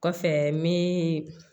Kɔfɛ me